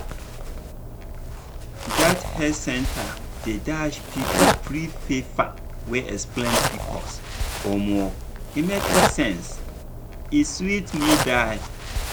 dat health center dey dash people free paper wey explain pcos omo e make sense e sweet me die.